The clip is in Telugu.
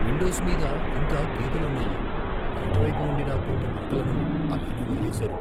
విండోస్ మీద ఇంకా గీతలున్నాయి, బయటి వైపు ఉండిన కొన్ని మరకలను అలానే వదిలేసారు.